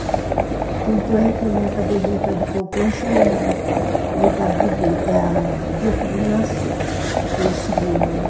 Tanto é que a minha caderneta de poupança é a idade dele, é o dia que ele nasceu, do segundo, né?